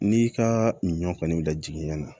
N'i ka ɲɔ kɔni lajigin ɲana